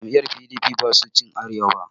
Jam'iyar P.d.p ba su ci Arewa ba